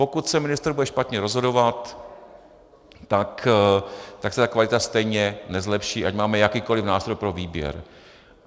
Pokud se ministr bude špatně rozhodovat, tak se ta kvalita stejně nezlepší, ať máme jakýkoli nástroj pro výběr.